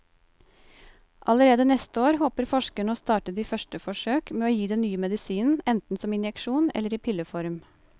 Allerede neste år håper forskerne å starte de første forsøk med å gi den nye medisinen enten som injeksjon eller i pilleform.